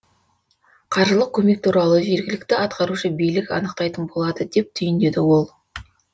қаржылық көмек туралы жергілікті атқарушы билік анықтайтын болады деп түйіндеді ол